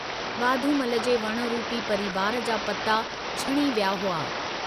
वाधमूल जे वण रूपी परिवार जा पता छणी विया हुआ।